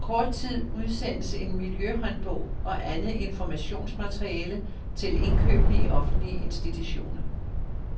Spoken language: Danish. Om kort tid udsendes en miljøhåndbog og andet informationsmateriale til indkøberne i offentlige institutioner.